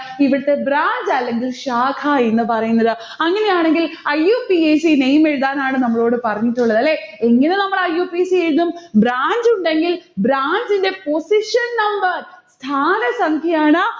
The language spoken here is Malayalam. ഇവിടുത്ത branch അല്ലെങ്കിൽ ശാഖ എന്ന് പറയുന്നത്. അങ്ങനെയാണെങ്കിൽ iupacname എഴുതാനാണ് നമ്മളോട് പറഞ്ഞിട്ടുള്ളത് ല്ലേ? എങ്ങനെ നമ്മൾ IUPAC എഴുതും? branch ഉണ്ടെങ്കിൽ branch ന്റെ position number ധാരസംഖ്യ ആണ്.